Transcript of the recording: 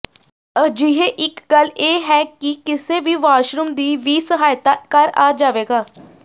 ਅਜਿਹੇ ਇੱਕ ਗੱਲ ਇਹ ਹੈ ਕਿ ਕਿਸੇ ਵੀ ਵਾਸ਼ਰੂਮ ਦੀ ਵੀ ਸਹਾਇਤਾ ਕਰ ਆ ਜਾਵੇਗਾ